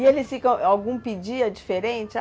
E eles ficam... Algum pedia diferente?